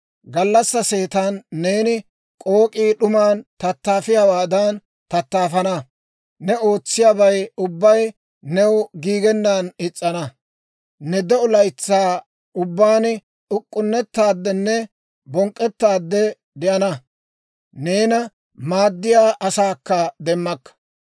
Gallassaa seetan neeni k'ook'ii d'uman tattaafiyaawaadan tattaafana; ne ootsiyaabay ubbay new giigennaan is's'ana. Ne de'o laytsaa ubbaan uk'k'unnettaadenne bonk'k'ettaade de'ana. Neena maaddiyaa asaakka demmakka.